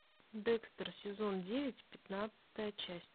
декстер сезон девять пятнадцатая часть